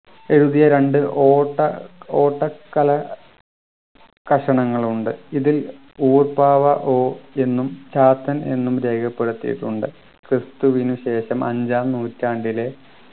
എഴുതിയ രണ്ട് ഓട്ട ഓട്ടക്കല കഷണങ്ങൾ ഉണ്ട് ഇതിൽ ഓട് പാവ ഓ എന്നും ചാത്തൻ എന്നും രേഖപ്പെടുത്തിയിട്ടുണ്ട് ക്രിസ്തുവിന് ശേഷം അഞ്ചാം നൂറ്റാണ്ടിലെ